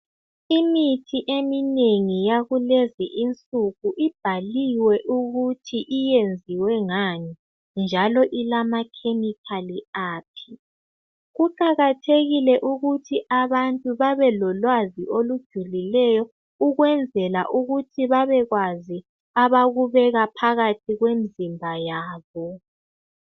Imithi eminengi yakulezi insuku ibhaliwe ukuthi iyenziwe ngani njalo ilama chemical aphi. Kuqakathekile ukuthi abantu babelolwazi olujulileyo ukwenzela ukuthi babekwazi abakubeka phakathi kwemizimba yabo.